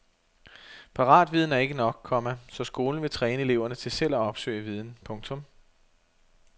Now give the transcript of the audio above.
Paratviden er ikke nok, komma så skolen vil træne eleverne til selv at opsøge viden. punktum